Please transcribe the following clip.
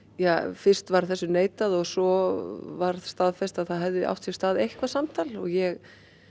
fyrst var þessu neitað og svo var staðfest að það hefði átt sér stað eitthvað samtal ég